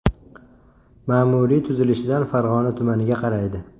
Ma’muriy tuzilishidan Farg‘ona tumaniga qaraydi.